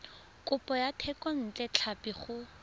kopo ya thekontle tlhapi go